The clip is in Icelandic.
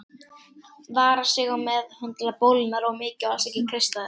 Vara sig á að meðhöndla bólurnar of mikið og alls ekki kreista þær.